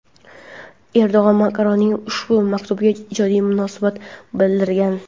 Erdo‘g‘an Makronning ushbu maktubiga ijobiy munosabat bildirgan.